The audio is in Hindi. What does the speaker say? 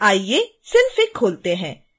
आइए synfig खोलते हैं